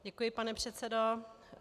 Děkuji, pane předsedo.